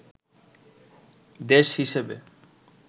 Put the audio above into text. দেশ হিসেবে